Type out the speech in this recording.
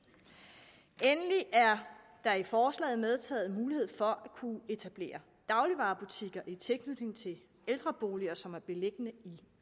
endelig er der i forslaget medtaget mulighed for at kunne etablere dagligvarebutikker i tilknytning til ældreboliger som er beliggende i